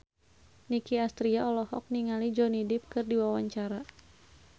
Nicky Astria olohok ningali Johnny Depp keur diwawancara